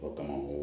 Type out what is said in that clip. O kama o